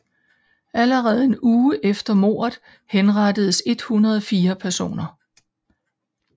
Allerede en uge efter mordet henrettedes 104 personer